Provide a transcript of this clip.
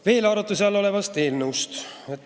Veel arutluse all olevast eelnõust.